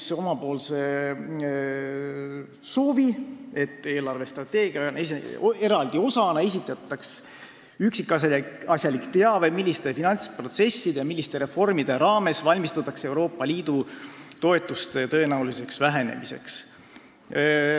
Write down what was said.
Esitasime oma soovi, et eelarvestrateegia eraldi osana esitataks üksikasjalik teave, milliste finantsprotsesside ja -reformide raames valmistutakse Euroopa Liidu toetuste tõenäoliseks vähenemiseks.